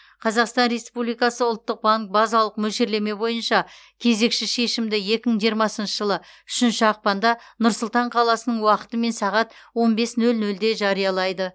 қазақстан республикасы ұлттық банк базалық мөлшерлеме бойынша кезекші шешімді екі мың жиырмасыншы жылы үшінші ақпанда нұр сұлтан қаласының уақытымен сағат он бес нөл нөлде жариялайды